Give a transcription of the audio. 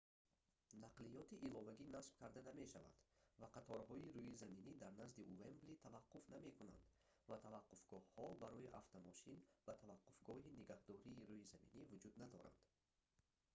нақлиёти иловагӣ насб карда намешавад ва қаторҳои рӯизаминӣ дар назди уэмбли таваққуф намекунанд ва таваққуфгоҳҳо барои автомошин ва таваққуфгоҳи нигаҳдории рӯизаминӣ вуҷуд надоранд